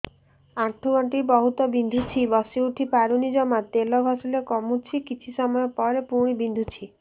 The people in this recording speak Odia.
ଆଣ୍ଠୁଗଣ୍ଠି ବହୁତ ବିନ୍ଧୁଛି ବସିଉଠି ପାରୁନି ଜମା ତେଲ ଘଷିଲେ କମୁଛି କିଛି ସମୟ ପରେ ପୁଣି ବିନ୍ଧୁଛି